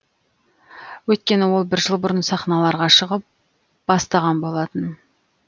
өйткені ол бір жыл бұрын сахналарға шығып бастаған болатын